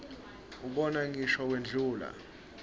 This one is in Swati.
ubona ngisho wendlula